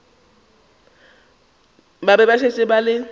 ba šetše ba le ka